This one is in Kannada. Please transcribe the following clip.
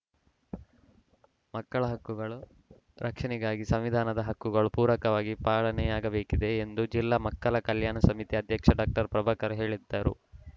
ಮಕ್ಕಳ ಹಕ್ಕುಗಳು ರಕ್ಷಣೆಗಾಗಿ ಸಂವಿಧಾನದ ಹಕ್ಕುಗಳು ಪೂರಕವಾಗಿ ಪಾಲನೆಯಾಗಬೇಕಿದೆ ಎಂದು ಜಿಲ್ಲಾ ಮಕ್ಕಳ ಕಲ್ಯಾಣ ಸಮಿತಿ ಅಧ್ಯಕ್ಷ ಡಾಕ್ಟರ್ ಪ್ರಭಾಕರ್‌ ಹೇಳಿದರು